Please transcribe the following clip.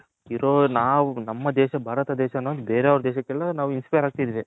ಇರೋ ನಾವು ನಮ್ಮ ದೇಶ ಭಾರತ ದೇಶ ಅನ್ನೋದು ಬೇರೆ ಅವರ ದೇಶಕೆಲ್ಲ ನಾವು Inspire ಅಗ್ತಿದಿವಿ.